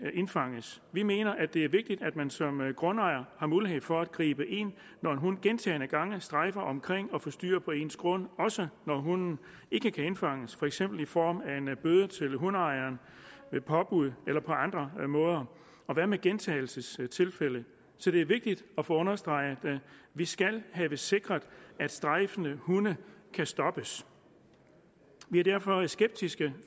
indfanges vi mener at det er vigtigt at man som grundejer har mulighed for at gribe ind når en hund gentagne gange strejfer omkring og forstyrrer på ens grund også når hunden ikke kan indfanges for eksempel i form af en bøde til hundeejeren ved påbud eller på andre måder og hvad med gentagelsestilfælde så det er vigtigt at få understreget at vi skal have sikret at strejfende hunde kan stoppes vi er derfor skeptiske